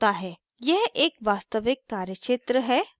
यह एक वास्तविक कार्यक्षेत्र है